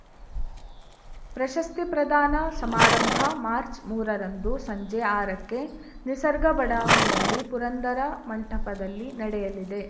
ಪ್ರಶಸ್ತಿ ಪ್ರದಾನ ಸಮಾರಂಭ ಮಾರ್ಚ್ ಮೂರರಂದು ಸಂಜೆ ಆರಕ್ಕೆ ನಿಸರ್ಗ ಬಡಾವಣೆಯಲ್ಲಿ ಪುರಂದರ ಮಂಟಪದಲ್ಲಿ ನಡೆಯಲಿದೆ